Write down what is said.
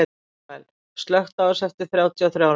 Manuel, slökktu á þessu eftir þrjátíu og þrjár mínútur.